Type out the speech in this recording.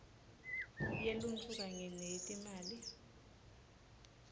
yeluntfu kanye neyetimali